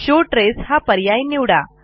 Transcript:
show trace हा पर्याय निवडा